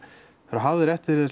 eru hafðir eftir þér